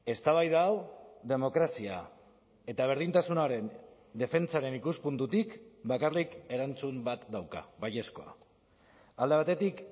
eztabaida hau demokrazia eta berdintasunaren defentsaren ikuspuntutik bakarrik erantzun bat dauka baiezkoa alde batetik